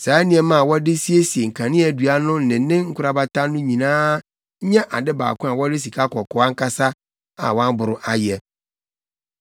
Saa nneɛma a wɔde siesie kaneadua no ne ne nkorabata no nyinaa nyɛ ade baako a wɔde sikakɔkɔɔ ankasa a wɔaboro ayɛ.